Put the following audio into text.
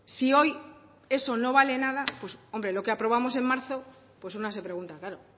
si hoy eso no vale nada pues hombre lo que aprobamos en marzo pues una se pregunta claro